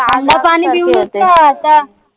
नका आता